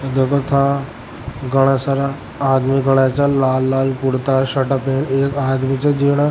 देखा ता घना सारा आदमी खड़ा छे जा लाल लाल कुरता पहना छे एक आदमी ने --